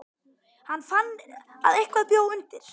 Hann fann að eitthvað bjó undir.